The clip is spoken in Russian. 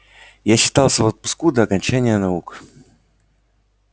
я считался в отпуску до окончания наук